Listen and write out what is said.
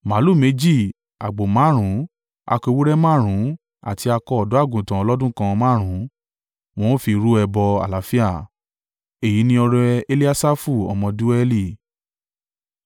màlúù méjì, àgbò márùn-ún, akọ ewúrẹ́ márùn-ún àti akọ ọ̀dọ́-àgùntàn ọlọ́dún kan márùn-ún, wọn ó fi rú ẹbọ àlàáfíà. Èyí ni ọrẹ Eliasafu ọmọ Deueli.